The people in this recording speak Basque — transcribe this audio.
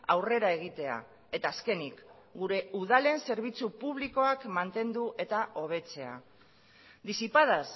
aurrera egitea eta azkenik gure udalen zerbitzu publikoak mantendu eta hobetzea disipadas